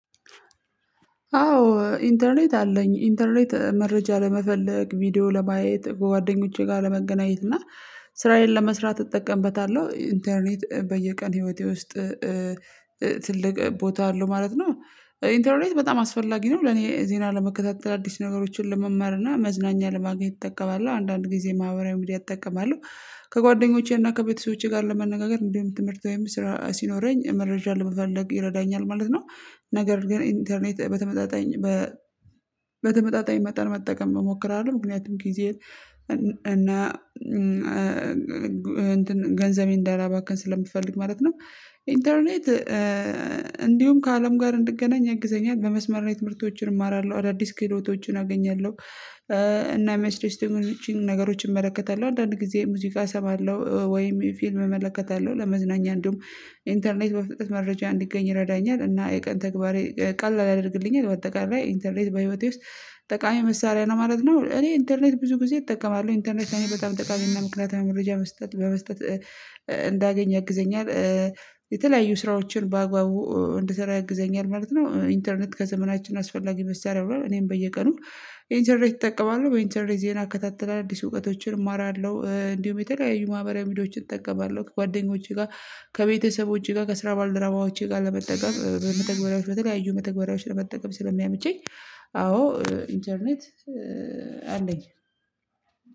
አዎ ኢንተርኔት አለኝ ኢንተርኔት መረጃ ለመፈለግ ቪዲዮ ለማየት በጓደኞቼ ጋር ለመገናኘት እና ስራዬን ለመስራት እጠቀምበታለሁ ኢንተርኔት በየቀን ህይወቴ ውስጥ ትልቅ ቦታ አለው ማለት ነው። ኢንተርኔት በጣም አስፈላጊ ነው ለኔ ዜና ለመከታተል አዲስ ነገሮችን ለመማር እና መዝናኛ ለማግኘት እጠቀማለሁ አንዳንድ ጊዜ ማህበራዊ ሚዲያ እጠቀማለሁ። ከጓደኞቼና ከቤተሰቦቼ ጋር ለመነጋገር እንዲውም ትምህርት ወይም ስራ ሲኖረኝ መረጃ ለመፈለግ ይረዳኛል ማለት ነው። ነገር ግን ኢንተርኔት በተመጣጣኝ በተመጣጣኝ መጠን መጠቀም እሞክራለሁ ምክንያቱም ጊዜ እና እንትን ገንዘቤን እንዳላባከን ስለምፈልግ ማለት ነው። ኢንተርኔት እንዲሁም ከአለም ጋር እንድገናኝ ያግዘኛል በመስመር ነው ትምህርቶችን እማራለሁ አዳዲስ ክህሎቶችን አገኛለሁ። እና የሚያስደስቱኝን ነገሮችን እመለከታለሁ አንዳንድ ጊዜ ሙዚቃ እሰማለሁ ወይም ፊልም እመለከታለሁ ለመዝናኛ እንደውም ኢንተርኔት በፍጥነት መረጃ እንዲገኝ ይረዳኛል እና የቀን ተግባሬ ቀላል ያደርግልኛል። በአጠቃላይ ኢንተርኔት በህይወቴ ውስጥ ጠቃሚ መሳሪያ ነው ማለት ነው። እኔ ኢንተርኔት ብዙ ጊዜ እጠቀማለሁ ኢንተርኔት በጣም ጠቃሚና ምክንያትዊ መረጃ በመስጠት በመስጠት እንዳገኝ ያግዘኛል። የተለያዩ ስራዎችን በአግባቡ እንድሰራ ያግዘኛል ማለት ነው። ኢንተርኔት ከዘመናችን አስፈላጊ መስሪያ ሆኗል እኔም በየቀኑ ኢንተርኔት እጠቀማለሁ። በኢንተርኔት ዜና እከታተላል አዲስ እውቀቶችን እማራለሁ እንዲሁም የተለያዩ ማህበሪዊ ሚዲያዎችን እጠቀማለሁ። ከጓደኞቼ ጋር ከቤተሰቦቼ ጋር ከስራ ባልደረባዎቼ ጋር ለመጠቀም በመተግበሪያዎች በተለያዩ መተግበሪያዎች ለመጠቀም ስለሚያመቸኝ። አዎ ኢንተርኔት አለኝ።